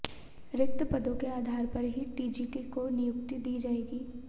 रिक्त पदों के आधार पर ही टीजीटी को नियुक्ति दी जाएगी